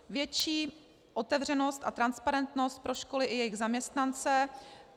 Větší otevřenost a transparentnost pro školy i jejich zaměstnance.